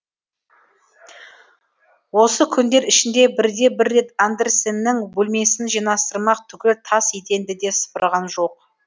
осы күндер ішінде бірде бір рет андерсеннің бөлмесін жинастырмақ түгіл тас еденді де сыпырған жоқ